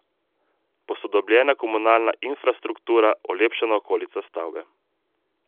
Posodobljena je komunalna infrastruktura, olepšana okolica stavbe.